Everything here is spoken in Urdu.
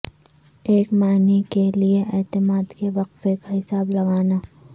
ایک معنی کے لئے اعتماد کے وقفہ کا حساب لگانا